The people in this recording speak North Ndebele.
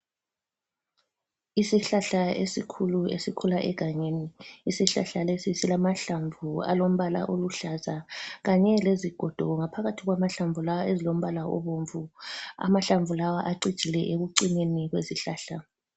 Isihlahla esikhulu esikhula egangeni. Isihlahla lesi silamahlamvu alombala oluhlaza kanye lezigodo, ngaphakathi kwahlamvu lawa ezilombala obomvu amahlamvu lawa acijile ekucineni kwesihlahla.